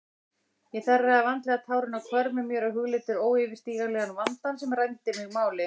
Ég þerraði vandlega tárin af hvörmum mér og hugleiddi óyfirstíganlegan vandann sem rændi mig máli.